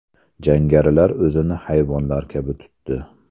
Jangarilar o‘zini hayvonlar kabi tutdi”.